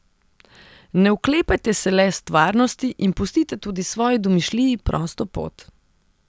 Ne oklepajte se le stvarnosti in pustite tudi svoji domišljiji prosto pot.